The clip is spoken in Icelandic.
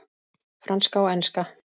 Franska og enska.